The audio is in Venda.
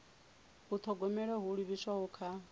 u thogomela ho livhiswaho kha